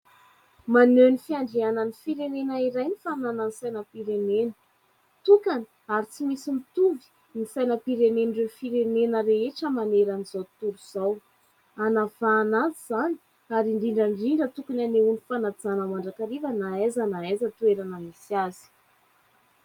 Maneho ny fiandrianan'ny firenena iray ny fananany saina-pirenena, tokana ary tsy misy mitovy ny sainam-pirenen'ireo firenena rehetra maneran'izao tontolo izao, hanavahana azy izany ary indrindra ndrindra tokony anehoany fanajana mandrakariva na aiza na aiza toerana misy azy.